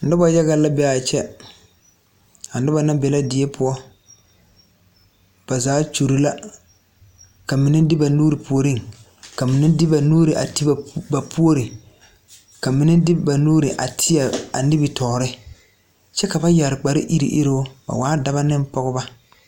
Nobɔ yaga la be a be a kyɛ a nobɔ na be la die poɔ ba zaa kyure la ka mine de ba nuure puoriŋ ka mine de ba nuure a te ba poore ka minebde ba nuuree tie a nimitoore kyɛ ka ba yɛre kpare iruŋ iruŋ ba waa daba neŋ pɔgebɔ.